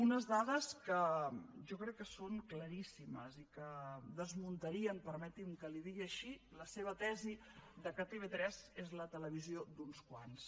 unes dades que jo crec que són claríssimes i que desmuntarien permeti’m que li ho digui així la seva tesi que tv3 és la televisió d’uns quants